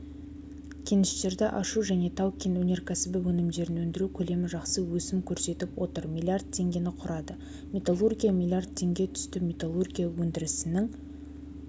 кеніштерді ашу және тау-кен өнеркәсібі өнімдерін өндіру көлемі жақсы өсім көрсетіп отыр млрд теңгені құрады металлургия млрд теңге түсті металлургия өндірісінің